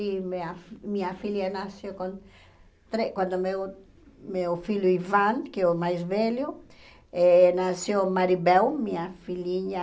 E minha minha filha nasceu com tre quando meu meu filho Ivan, que é o mais velho, eh nasceu Maribel, minha filhinha.